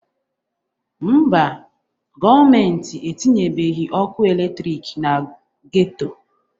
Mba, gọọmenti etinyebeghi ọkụ eletriki na geto.